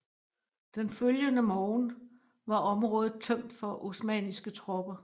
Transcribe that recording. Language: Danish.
Den følgende morgen var området tømt for osmanniske tropper